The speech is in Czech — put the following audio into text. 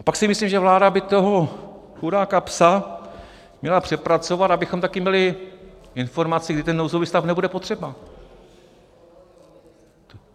A pak si myslím, že by vláda toho chudáka "psa" měla přepracovat, abychom taky měli informaci, kdy ten nouzový stav nebude potřeba.